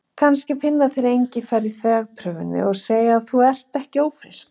Kannski finna þeir engifer í þvagprufunni og segja að þú sért ekki ófrísk.